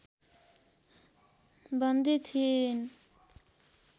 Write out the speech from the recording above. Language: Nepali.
बन्दी थिइन्।